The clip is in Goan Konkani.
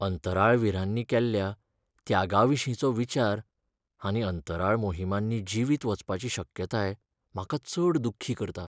अंतराळवीरांनी केल्ल्या त्यागाविशींचो विचार आनी अंतराळ मोहिमांनी जिवीत वचपाची शक्यताय म्हाका चड दुख्खी करता.